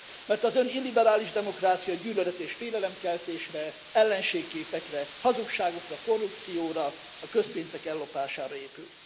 Mert az ön illiberális demokráciája gyűlölet és félelemkeltésre, ellenségképekre, hazugságokra, korrupcióra, a közpénzek ellopására épül.